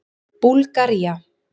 Búlgaría